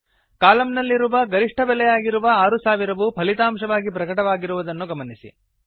column ನಲ್ಲಿರುವ ಗರಿಷ್ಠ ಬೆಲೆಯಾಗಿರುವ 6000 ವು ಫಲಿತಾಂಶವಾಗಿ ಪ್ರಕಟವಾಗಿರುವುದನ್ನು ಗಮನಿಸಿ